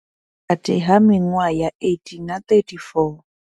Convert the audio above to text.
Vhukati ha miṅwaha ya 18 na 34.